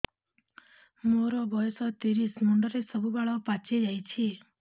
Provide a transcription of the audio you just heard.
ମୋର ବୟସ ତିରିଶ ମୁଣ୍ଡରେ ସବୁ ବାଳ ପାଚିଯାଇଛି